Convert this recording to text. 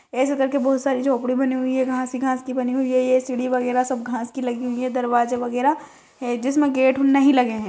ऐसे करके बोहत सारी झोपड़ी बनी हुई है घास ही घास की बनी हुई है ये सीढ़ी वगेरा सब घास की लगी हुई है दरवाजा वगेरा है जिसमे गेट नहीं लगे है।